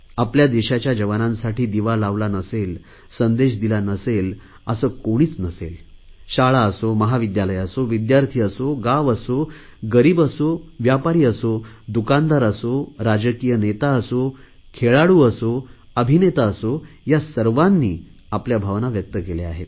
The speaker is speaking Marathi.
आपल्या देशाच्या जवानांसाठी दिवा लावला नसेल संदेश दिला नसेल असे कोणीच नसेल शाळा असो महाविद्यालय असो विद्यार्थी असो गाव असो गरीब असो व्यापारी असो दुकानदार असो राजकीय नेता असो खेळाडू असो अभिनेता असो या सर्वांनीच आपल्या भावना व्यक्त केल्या आहेत